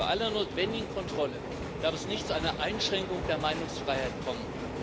Bei aller notwendigen Kontrolle darf es nicht zu einer Einschränkung der Meinungsfreiheit kommen.